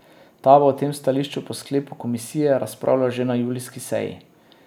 Ta bo o tem stališču po sklepu komisije razpravljal že na julijski seji.